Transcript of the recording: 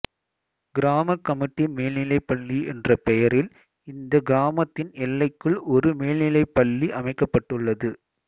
கிராம கமிட்டி மேல்நிலைப்பள்ளி என்ற பெயரில் இந்த கிராமத்தின் எல்லைக்குள் ஒரு மேல்நிலைப்பள்ளி அமைக்கப்பட்டுள்ளது